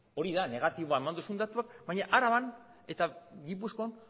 hori da negatiboa eman duzun datua baina araban eta gipuzkoan